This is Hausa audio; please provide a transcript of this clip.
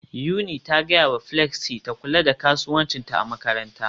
Yuni ta gaya wa Flexy ta kula da kasuwancinta a makaranta